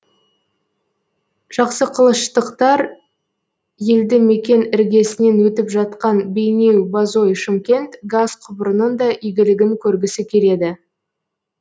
жақсықылыштықтар елді мекен іргесінен өтіп жатқан бейнеу бозой шымкент газ құбырының да игілігін көргісі келеді